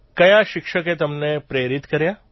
કયા શિક્ષકે તમને પ્રેરિત કર્યા